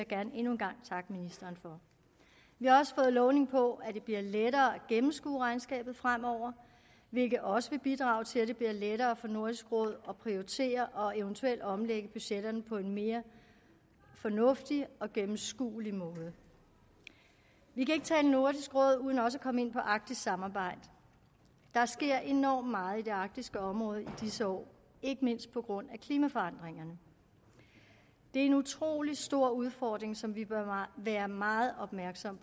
gerne endnu en gang takke ministeren for vi har også fået lovning på at det bliver lettere at gennemskue regnskabet fremover hvilket også vil bidrage til at det bliver lettere for nordisk råd at prioritere og eventuelt omlægge budgetterne på en mere fornuftig og gennemskuelig måde vi kan ikke tale nordisk råd uden også at komme ind på arktisk samarbejde der sker enormt meget i det arktiske område i disse år ikke mindst på grund af klimaforandringerne det er en utrolig stor udfordring som vi bør være meget opmærksom